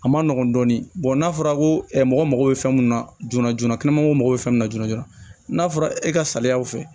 A ma nɔgɔn dɔɔnin n'a fɔra ko mɔgɔ bɛ fɛn mun na joona joona mago bɛ fɛn mun na joona n'a fɔra e ka saliyaw fɛ